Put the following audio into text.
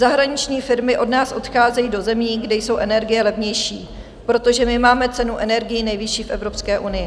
Zahraniční firmy od nás odcházejí do zemí, kde jsou energie levnější, protože my máme cenu energií nejvyšší v Evropské unii.